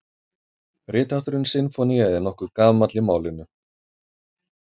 Rithátturinn sinfónía er nokkuð gamall í málinu.